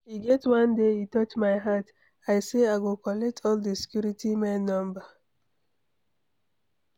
E get one day e touch my heart, I say I go collect all the security men number.